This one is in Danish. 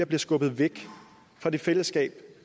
bliver skubbet væk fra det fællesskab